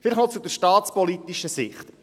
Vielleicht noch zur staatspolitischen Sicht: